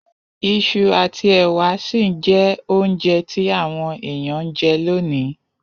Isu àtí èwà si n je ounje ti àwon èyàn n je lonìí